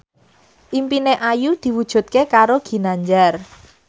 impine Ayu diwujudke karo Ginanjar